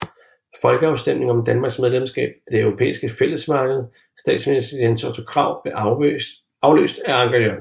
Folkeafstemning om Danmarks medlemskab af det Europæiske Fællesmarked Statsminister Jens Otto Krag blev afløst af Anker Jørgensen